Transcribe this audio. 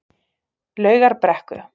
Laugarbrekku